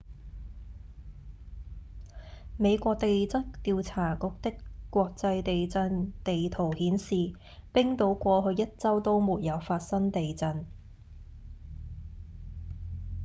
美國地質調查局的國際地震地圖顯示冰島過去一週都沒有發生地震